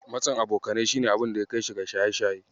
Matsin abokanai shi ne abunda ya kaishi ga shaye-shaye.